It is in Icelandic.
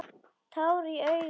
Tár í augum hennar.